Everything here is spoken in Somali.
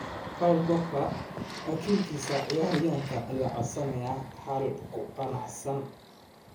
Paul Pogba: Wakiilka ciyaaryahanka ayaa codsanaya xal ku qanacsan.